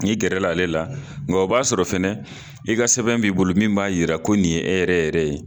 N'i gɛrɛla ale la, nka o b'a sɔrɔ fɛnɛ, i ka sɛbɛn b'i bolo min b'a yira, ko nin ye, e yɛrɛ yɛrɛ ye.